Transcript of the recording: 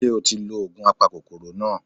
Ṣé o ti lo ògùn apakòkòrò náà